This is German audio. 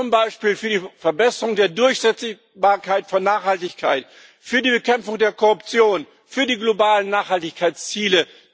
Zum Beispiel für die Verbesserung der Durchsetzbarkeit von Nachhaltigkeit, für die Bekämpfung der Korruption, für die globalen Nachhaltigkeitsziele.